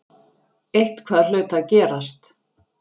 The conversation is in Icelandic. Eitthvað hlaut að gerast.